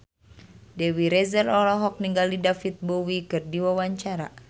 Dewi Rezer olohok ningali David Bowie keur diwawancara